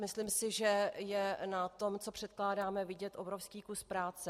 Myslím si, že je na tom, co překládáme, vidět obrovský kus práce.